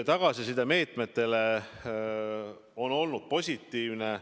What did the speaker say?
Tagasiside meetmete kohta on olnud positiivne.